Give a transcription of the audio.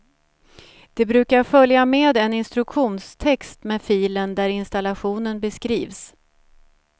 Det brukar följa med en instruktionstext med filen där installationen beskrivs.